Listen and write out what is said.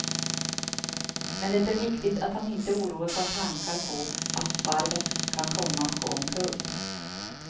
Men det är viktigt att han inte oroas av tankar på att varvet kan komma att gå omkull.